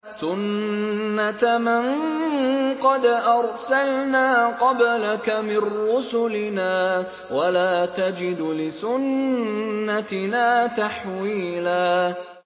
سُنَّةَ مَن قَدْ أَرْسَلْنَا قَبْلَكَ مِن رُّسُلِنَا ۖ وَلَا تَجِدُ لِسُنَّتِنَا تَحْوِيلًا